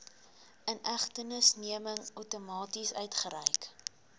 inhegtenisneming outomaties uitgereik